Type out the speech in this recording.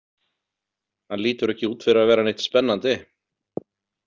Hann lítur ekki út fyrir að vera neitt spennandi